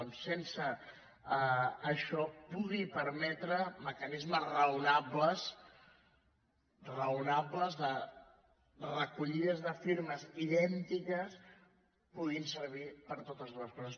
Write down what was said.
doncs sense això que pugui permetre mecanismes raonables de recollides de firmes idèntiques puguin servir per a totes dues coses